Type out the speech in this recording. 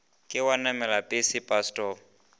ke wa namela pese pasetopo